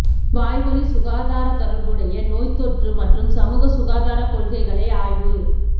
வாய்வழி சுகாதார தொடர்புடைய நோய் தொற்று மற்றும் சமூக சுகாதார கொள்கைகளை ஆய்வு